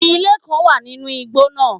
Ilé kán wà nínú igbó náà